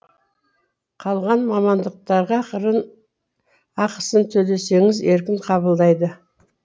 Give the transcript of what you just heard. қалған мамандықтарға ақысын төлесеңіз еркін қабылдайды